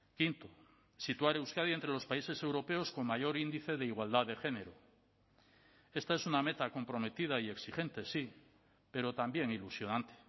quinto situar euskadi entre los países europeos con mayor índice de igualdad de género esta es una meta comprometida y exigente sí pero también ilusionante